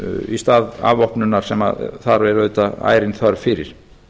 í stað afvopnunar sem þar er auðvitað ærin þörf fyrir